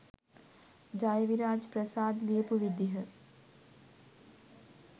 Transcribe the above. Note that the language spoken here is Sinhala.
ජයවිරාජ් ප්‍රසාද් ලියපු විදිහ